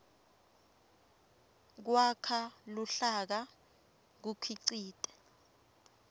kwakha luhlaka kukhicite